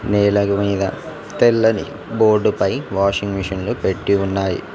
నేలగ్ మీద తెల్లని బోర్డుపై వాషింగ్ మెషిన్లు పెట్టి ఉన్నాయి.